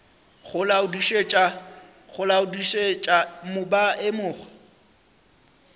go laodišetša mo ba emego